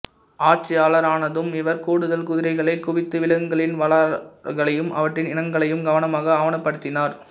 ஆட்சியாளரானதும் இவர் கூடுதல் குதிரைகளைக் குவித்து விலங்குகளின் வரலாறுகளையும் அவற்றின் இனங்களையும் கவனமாக ஆவணப்படுத்தினார்